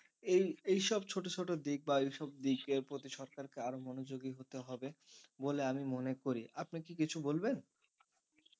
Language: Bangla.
এই এইসব ছোট ছোট দিক বা এইসব বিষয়ের প্রতি সরকার কারো মনোযোগী হতে হবে বলে আমি মনে করি আপনি কি কিছু বলবেন?